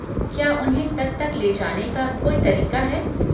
क्या उन्हें तट तक ले जाने का कोई तरीका है?